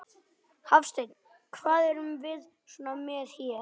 Hafsteinn: Hvað erum við svo með hér?